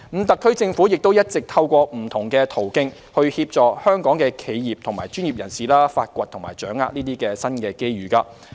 特區政府也一直透過不同途徑，協助香港企業和專業人士發掘和掌握這些新機遇。